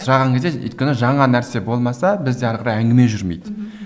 сұраған кезде өйткені жаңа нәрсе болмаса бізде әрі қарай әңгіме жүрмейді